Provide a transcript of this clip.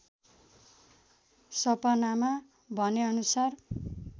सपनामा भनेअनुसार